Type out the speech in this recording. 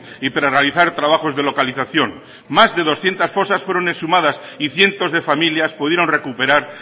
y para realizar trabajos de localización más de doscientos fosas fueron exhumadas y cientos de familias pudieron recuperar